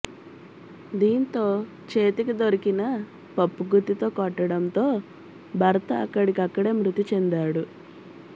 దీంతో చేతికి దొరికిన పప్పుగుత్తితో కొట్టడంతో భర్త అక్కడికక్కడే మృతి చెందాడు